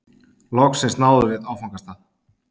Loksins náðum við áfangastað.